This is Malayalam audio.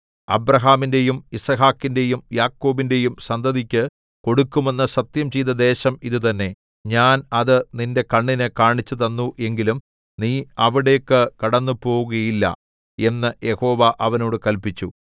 അബ്രാഹാമിന്‍റെയും യിസ്ഹാക്കിന്റെയും യാക്കോബിന്റെയും സന്തതിക്കു കൊടുക്കുമെന്ന് സത്യംചെയ്ത ദേശം ഇതുതന്നെ ഞാൻ അത് നിന്റെ കണ്ണിന് കാണിച്ചുതന്നു എങ്കിലും നീ അവിടേക്കു കടന്നുപോകുകയില്ല എന്ന് യഹോവ അവനോട് കല്പിച്ചു